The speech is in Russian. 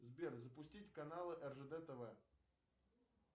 сбер запустить каналы ржд тв